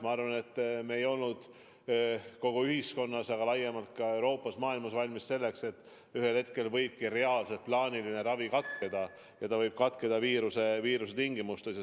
Ma arvan, et me ei olnud kogu ühiskonnas, aga laiemalt ka Euroopas ja terves maailmas valmis selleks, et ühel hetkel võib reaalselt plaaniline ravi katkeda mingi viiruse tõttu.